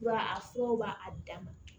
Ba a furaw b'a dama